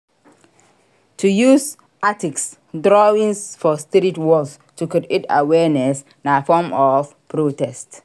To use artistc drawings for street walls to create awearness na form of protest